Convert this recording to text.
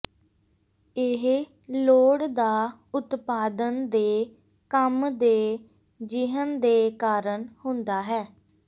ਇਹ ਲੋੜ ਦਾ ਉਤਪਾਦਨ ਦੇ ਕੰਮ ਦੇ ਿਜਹਨ ਦੇ ਕਾਰਨ ਹੁੰਦਾ ਹੈ